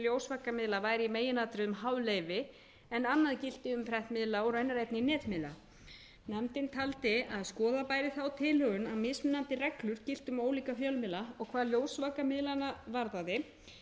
væri í meginatriðum háð leyfi en annað gilti um prentmiðla og raunar einnig netmiðla nefndin taldi að skoða bæri þá tilhögun að mismunandi reglur giltu um ólíka fjölmiðla og hvað ljósvakamiðlana varðaði